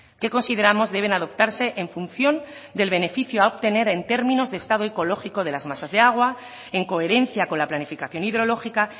que consideramos deben adoptarse en función del beneficio a obtener en términos de estado ecológico de las masas de agua en coherencia con la planificación hidrológica